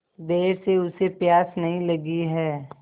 देर से उसे प्यास नहीं लगी हैं